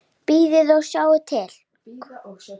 Bíða og sjá til.